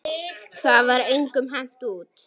Það var engum hent út.